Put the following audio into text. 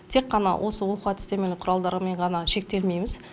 тек қана осы оқу әдістемелік құралдарымен ғана шектелмейміз